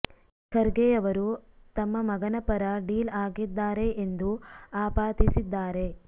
ಖರ್ಗೆ ಅವರು ತಮ್ಮ ಮಗನ ಪರ ಡೀಲ್ ಆಗಿದ್ದಾರೆ ಎಂದೂ ಆಪಾದಿಸಿದ್ದಾರೆ